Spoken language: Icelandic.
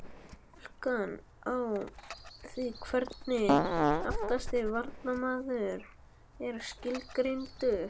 Túlkun á því hvernig aftasti varnarmaður er skilgreindur?